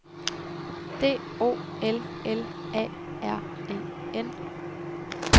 D O L L A R E N